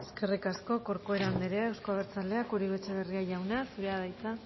eskerrik asko corcuera andrea euzko abertzaleak uribe etxebarria jauna zurea da hitza